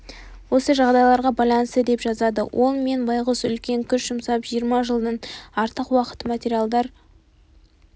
осы жағдайларға байланысты деп жазады ол мен байғұс үлкен күш жұмсап жиырма жылдан артық уақыт материалдар